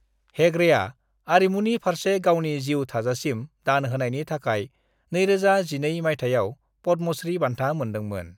हेगड़ेआ आरिमुनि फारसे गावनि जिउ थाजासिम दान होनायनि थाखाय 2012 मायथाइयाव पद्मश्री बान्था मोनदोंमोन।